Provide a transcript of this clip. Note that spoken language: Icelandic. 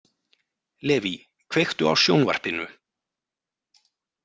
Leví, kveiktu á sjónvarpinu.